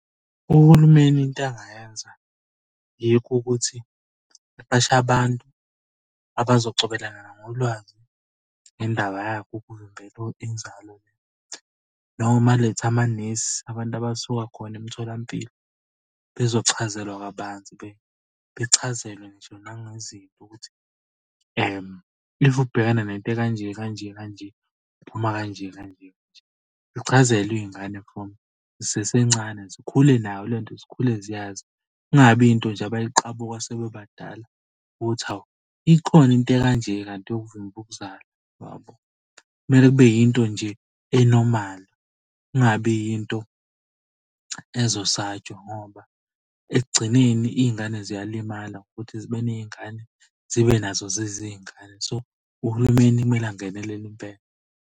Uhulumeni into angayenza yikho ukuthi aqashe abantu abazocobelelana ngolwazi ngendaba yakhe ukuvimbela inzalo, noma alethe amanesi abantu abasuka khona emtholampilo. Bezochazelwa kabanzi bechazelwe nje nangezinto ukuthi if ubhekana nento ekanje kanje kanje uphuma kanje kanje kanje. Zichazelwe iy'ngane from zisasencane zikhule nayo lento zikhule ziyazi. Kungabi yinto nje abayiqabuka sebebadala ukuthi, hawu ikhona into ekanje kanti yokuvimba ukuzala? Yabo. Kumele kube yinto nje enormal, kungabi yinto ezosatshwa ngoba ekugcineni iy'ngane ziyalimala ukuthi zibe ney'ngane zibe nazo zizingane. So, uhulumeni kumele angenelele impela.